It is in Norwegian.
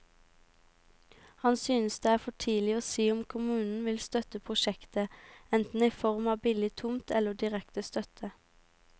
Han synes det er for tidlig å si om kommunen vil støtte prosjektet, enten i form av billig tomt eller direkte støtte.